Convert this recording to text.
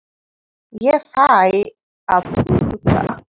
Ég fæ að þurrka.